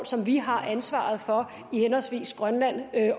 som vi har ansvaret for henholdsvis i grønland